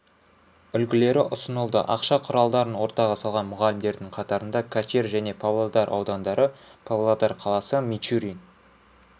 үлгілері ұсынылды ақша құралдарын ортаға салған мұғалімдердің қатарында качир және павлодар аудандары павлодар қаласы мичурин